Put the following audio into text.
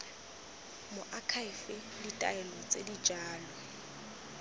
moakhaefe ditaelo tse di jalo